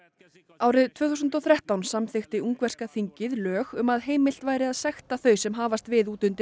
árið tvö þúsund og þrettán samþykkti ungverska þingið lög um að heimilt væri að sekta þau sem hafast við úti undir